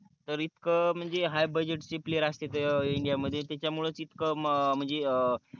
तरइथक म्हणजे high budget player असतेत india मध्ये त्याच्या मुडे तिथक म्हणजे